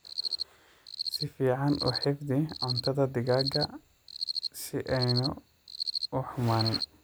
Si fiican u xifdhii cuntadhaa digaaga si aaynu u xumaanin.